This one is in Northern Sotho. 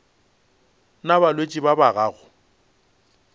na balwetši ba ba gago